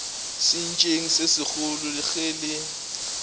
sentšeng se segolo ge le